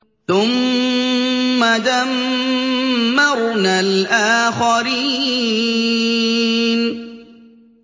ثُمَّ دَمَّرْنَا الْآخَرِينَ